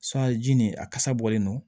ji nin a kasa bɔlen don